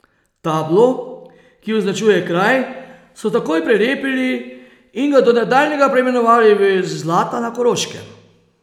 Tablo, ki označuje kraj, so takoj prelepili in ga do nadaljnjega preimenovali v Zlata na Koroškem.